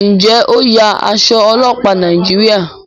njé o ń ya Aṣọ ọlọpa Nàìjíríà?